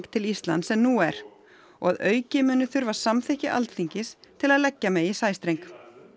til Íslands en nú er og að auki muni þurfa samþykki Alþingis til að leggja megi sæstreng